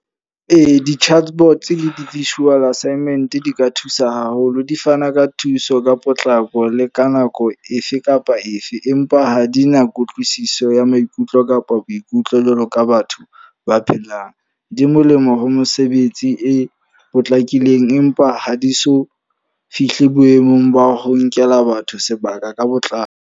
Ee, di-chatbots le di-visual assignment di ka thusa haholo. Di fana ka thuso, ka potlako le ka nako efe kapa efe. Empa ha di na kutlwisiso ya maikutlo kapa ba boikutlo jwalo ka batho ba phelang. Di molemo ho mosebetsi e potlakileng, empa ha di so fihle boemong ba ho nkela batho sebaka ka botlalo.